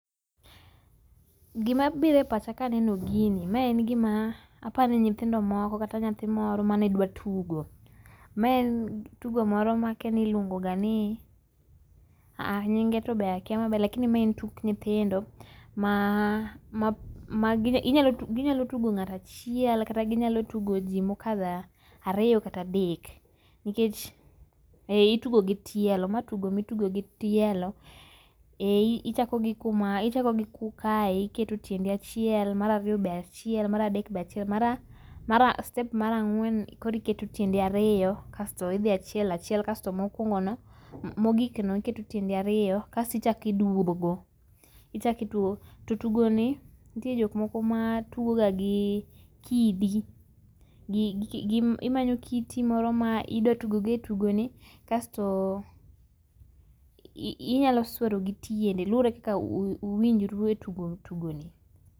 Gima biro e pacha ka aneno gini, ma en gima apani nyithindo moko kata nyathi moro mane dwa tugo. Maen tugo moro makiani iluongo ga nii, aaa nyinge tobe akia maber lakini maen tuk nyithindo ma, ma magine, ginyalo tugo ngato achiel kata ginyalo tugo jii mokadho ariyo kata adek nikech..Eeh ituge gi tielo. Ma en tugo ma itugo gi tielo, ee, ichako gi kuma ichako gi kae iketo tiendi achiel, mar ariyo be achiel, mar adek be achiel mara mara step mar ang'wen koro iketo tiendi ario kaito idhi achiel achiel kasto mokuongo no ,mogik no iketo tiendi ariyo asto ichak iduogo ichak iduogo. To tugoni nitie jokmoko ma tugo ga gi kidi, gi, imanyo kiti moro midwa tugo go e tugoni kasto ii inyalo swero gi tiendi luore kaka uwinjru e tugo tugoni